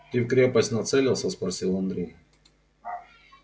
ты в крепость нацелился спросил андрей